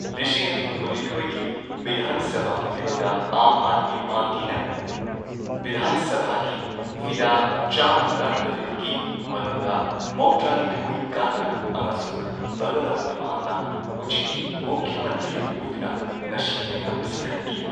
ꯂꯤꯁꯤꯡ ꯑꯅꯤ ꯀꯨꯟꯅꯤꯊꯣꯏꯒꯤ ꯕꯤꯙꯥꯟ ꯁꯚꯥ ꯃꯤꯈꯜꯗ ꯑꯥꯝ ꯑꯥꯗꯃꯤ ꯄꯥꯔꯇꯤꯅ ꯕꯤꯙꯥꯟ ꯁꯚꯥꯒꯤ ꯐꯤꯗꯥ ꯆꯥꯝꯃ ꯇꯔꯥꯇꯔꯦꯠꯀꯤ ꯃꯅꯨꯡꯗ ꯃꯧꯗ꯭ꯔꯥ ꯅꯤꯊꯣꯏ ꯀꯥꯗꯨꯅ ꯑꯃꯁꯨꯡ ꯚꯒꯋꯟꯇ ꯃꯥꯟꯅ ꯍꯧꯖꯤꯛꯀꯤ ꯃꯨꯈ꯭ꯌ ꯃꯟꯇ꯭ꯔꯤ ꯑꯣꯏꯗꯨꯅ ꯉꯁꯤꯒꯤ ꯂꯩꯉꯥꯛ ꯑꯁꯤ ꯈꯟꯈꯤ꯫